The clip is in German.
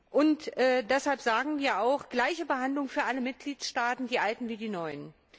Und deshalb sagen wir auch gleiche Behandlung für alle Mitgliedstaaten die alten wie die neuen.